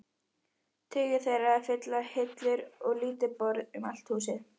Tugir þeirra fylla hillur og lítil borð um allt húsið.